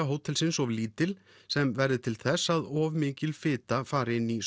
hótelsins of lítil sem verði til þess að of mikil fita fer inn í